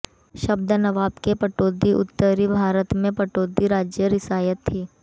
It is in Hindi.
शब्द नवाब के पटौदी उत्तरी भारत में पटौदी राज्य रियासत थी